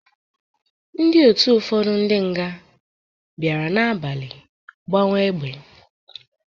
Ndị otu ụfọdụ ndị nga bịara n'abalị gbawa egbe.